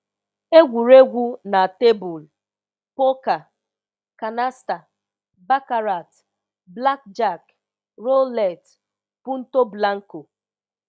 egwuregwu na tebụl: poker, canasta, baccarat, blackjack, roulette, Punto Blanco;